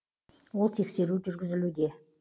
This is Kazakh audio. ол тексеру жүргізілуде